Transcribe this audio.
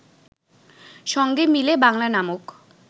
সঙ্গে মিলে বাংলা নামক